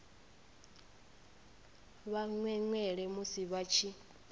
vha mwemwele musi vha tshi